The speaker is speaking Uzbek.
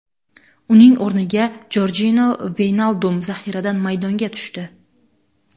Uning o‘rniga Jorjino Veynaldum zaxiradan maydonga tushdi.